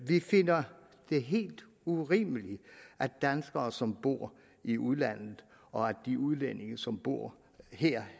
vi finder det helt urimeligt at danskere som bor i udlandet og de udlændinge som bor her